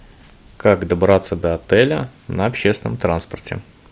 как добраться до отеля на общественном транспорте